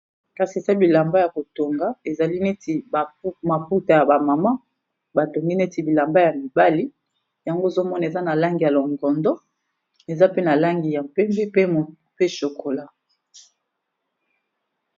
Kasi eza bilamba ya ko tonga ezali neti maputa ya ba mama, batongi neti bilamba ya mibali yango ozo mona eza na langi ya longondo, eza pe na langi ya pembe, pe chokola.